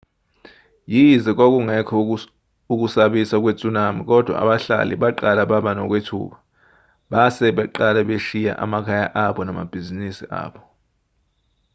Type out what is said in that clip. yize kwakungekho ukusabisa kwe-tsunami kodwa abahlali baqala baba nokwethuka base beqala beshiya amakhaya abo nama bhizinisi abo